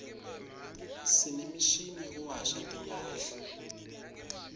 sinemishini yekuwasha timphadla